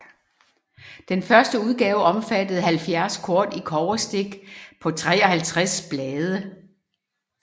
Den første udgave omfattede 70 kort i kobberstik på 53 blade